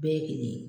Bɛɛ k'i ye